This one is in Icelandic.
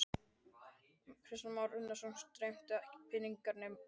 Kristján Már Unnarsson: Streymdu ekki peningarnir inn?